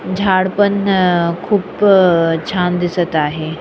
झाड पण अ खूप अ छान दिसत आहे.